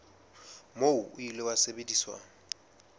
moo o ile wa sebediswa